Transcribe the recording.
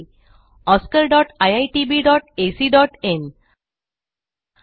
oscariitbacइन आणि spoken tutorialorgnmeict intro